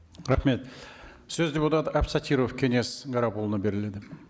рахмет сөз депутат әбсәтіров кеңес гарапұлына беріледі